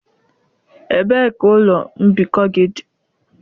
Ebee ka ụlọ mbikọ gị dị?